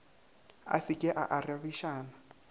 a se ke a arabišana